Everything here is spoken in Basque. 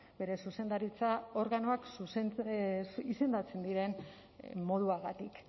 bere zuzendaritza organoak izendatzen diren moduagatik